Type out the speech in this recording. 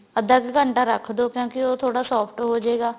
ਅੱਧਾ ਕ ਘੰਟਾ ਰੱਖ ਦੋ ਕਿਉਂਕਿ ਉਹ ਥੋੜਾ soft ਹੋ ਜੇਗਾ